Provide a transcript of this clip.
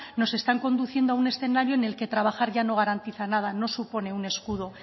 nos están conduciendo a un escenario en el que trabajar ya no garantiza nada no supone un escudo